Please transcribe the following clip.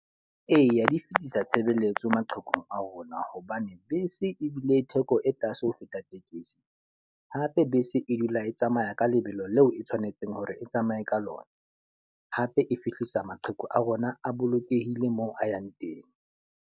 Eya di fitisa tshebeletso maqheku a rona. Hobane bese ebile theko e tlase ho feta tekesi. Hape bese e dula e tsamaya ka lebelo leo e tshwanetseng hore e tsamaye ka lona. Hape e fihlisa maqheku a rona a bolokehile moo a yang teng.